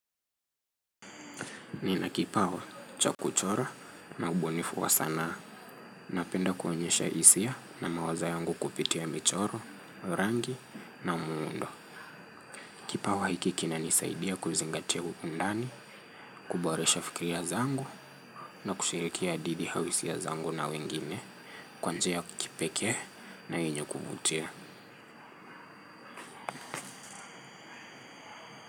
Nina kipawa cha kuchora na ubunifu wa sanaa. Napenda kuonyesha hisia na mawazo yangu kupitia michoro, rangi na muundo. Kipawa hiki kinanisaidia kuzingatia undani, kuboresha fikiria zangu, na kushiriki hadithi au hisia zangu na wengine. Kwa njia ya kipekee na yenye kuvutia.